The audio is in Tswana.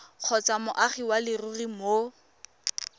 kgotsa moagi wa leruri mo